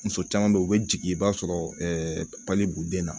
Muso caman bɛ yen u bɛ jigin i b'a sɔrɔ b'u den na